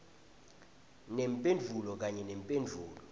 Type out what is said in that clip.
nemphendvulo kanye nemphendvulo